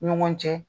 Ɲɔgɔn cɛ